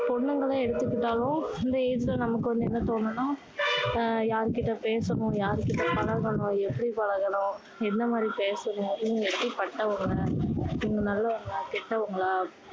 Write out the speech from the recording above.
பொண்ணுங்கள எடுத்துக்கிட்டாலும் இந்த age ல நமக்கு வந்து என்ன தோணும்னா அஹ் யார்கிட்ட பேசணும் யார் கிட்ட பழகணும் எப்படி பழகணும் என்ன மாதிரி பேசணும் இவங்க எப்படி பட்டவங்க இவங்க நல்லவங்களா கெட்டவங்களா